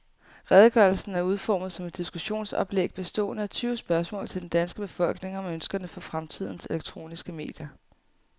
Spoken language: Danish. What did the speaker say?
Redegørelsen er udformet som et diskussionsoplæg bestående af tyve spørgsmål til den danske befolkning om ønskerne for fremtidens elektroniske medier.